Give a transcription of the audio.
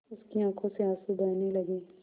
उसकी आँखों से आँसू बहने लगे